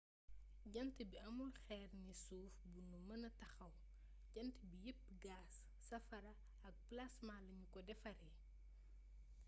jant bi amul xeer ne suuf bu nu mëna taxaw jant bi yepp gaas safara ak plaasma lanu ko defaree